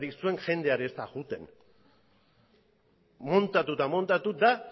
zergatik zuen jendea ere ez da joaten muntatu eta muntatu da